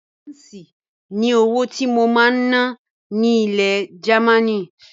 Páǹsì ni owó tí mo máa ná ní ilẹ̀ Gamaní.